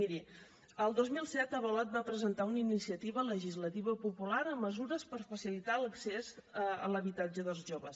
miri el dos mil set avalot va presentar una iniciativa legislativa popular amb mesures per facilitar l’accés a l’habitatge dels joves